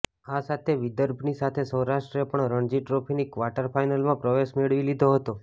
આ સાથે વિદર્ભની સાથે સૌરાષ્ટ્રે પણ રણજી ટ્રોફીની ક્વાર્ટર ફાઈનલમાં પ્રવેશ મેળવી લીધો હતો